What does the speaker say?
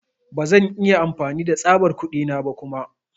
Ba zan iya amfani da tsabar kuɗi na ba kuma.